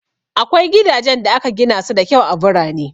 Akwai gidajen da aka gina su da kyau a birane.